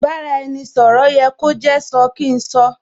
Ì bá-ra-ẹni - sọ̀rọ̀ yẹ kó jẹ́ sọ kín sọ